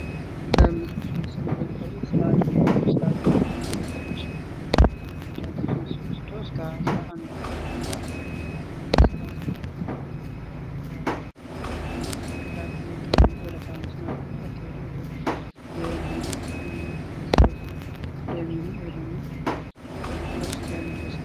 የሃይማኖት በዓላትና ሥርዓቶች አማኞች እምነታቸውን እንዲያድሱና ማህበረሰባቸውን እንዲያጠናክሩ ያግዛሉ።